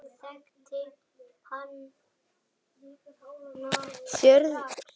Sérðu nokkuð eftir því?